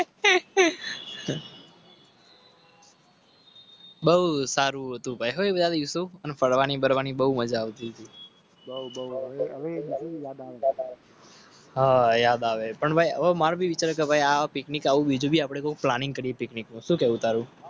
બહુ સારું. જવાની બહુ મજા આવતી. હા યાદ આવે.